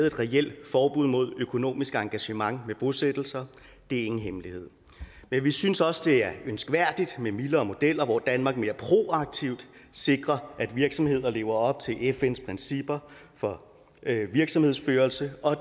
et reelt forbud imod økonomisk engagement i bosættelser det er ingen hemmelighed men vi synes også det er ønskværdigt med mildere modeller hvor danmark mere proaktivt sikrer at virksomheder lever op til fns principper for virksomhedsførelse og